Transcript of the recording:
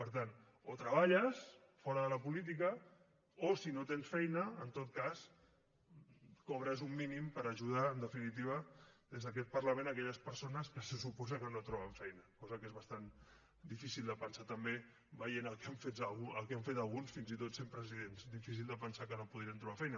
per tant o treballes fora de la política o si no tens feina en tot cas cobres un mínim per ajudar en definitiva des d’aquest parlament aquelles persones que se suposa que no troben feina cosa que és bastant difícil de pensar també veient el que han fet alguns fins i tot sent presidents difícil de pensar que no podrien trobar feina